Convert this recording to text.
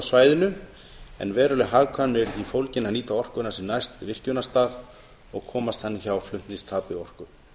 svæðinu en veruleg hagkvæmni er í því fólgin að nýta orkuna sem næst virkjunarstað og komast þannig hjá flutningstapi orku